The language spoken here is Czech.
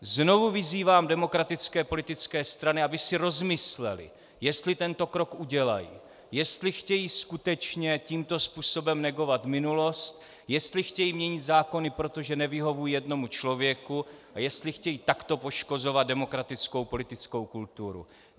Znovu vyzývám demokratické politické strany, aby si rozmyslely, jestli tento krok udělají, jestli chtějí skutečně tímto způsobem negovat minulost, jestli chtějí měnit zákony proto, že nevyhovují jednomu člověku, a jestli chtějí takto poškozovat demokratickou politickou kulturu.